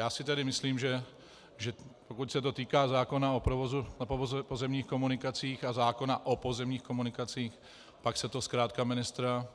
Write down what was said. Já si tedy myslím, že pokud se to týká zákona o provozu na pozemních komunikacích a zákona o pozemních komunikacích, pak se to zkrátka ministra